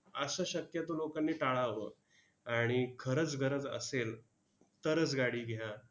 असं शक्यतो लोकांनी टाळावं. आणि खरंच गरज असेल, तरच गाडी घ्या.